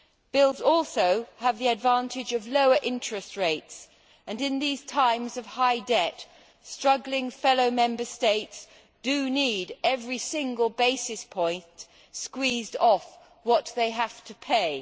Bills also have the advantage of lower interest rates and in these times of high debt, struggling fellow Member States do need every single basis point squeezed off what they have to pay.